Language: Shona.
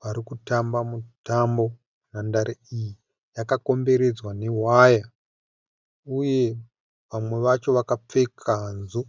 varikutamba mutambo. Nhandare iyi yakakomberedzwa newaya uye vamwe vacho vakapfeka hanzu